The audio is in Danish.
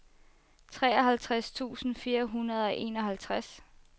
treoghalvtreds tusind fire hundrede og enoghalvtreds